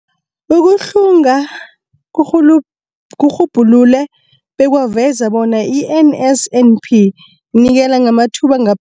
Ukuhlunga kurhulu kurhubhulule bekwaveza bona i-NSNP inikela ngamathuba anga